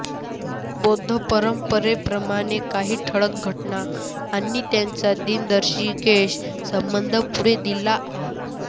बौद्ध परंपरेप्रमाणे काही ठळक घटना आणि त्यांचा दिनदर्शिकेशी संबंध पुढे दिला आहे